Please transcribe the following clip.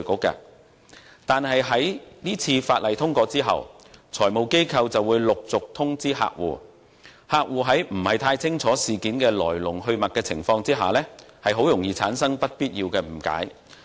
不過，在《條例草案》獲通過後，財務機構便會陸續通知客戶，而客戶在不太清楚來龍去脈的情況下，很容易會產生不必要的誤解。